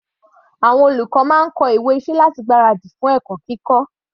Àwọn olùkọ́ máa ń kọ ìwé iṣẹ́ láti gbára dì fún ẹ̀kọ́ kíkọ́.